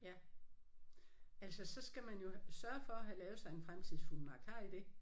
Ja. Altså så skal man jo sørge for at have lavet sig en fremtidsfuldmagt. Har I det?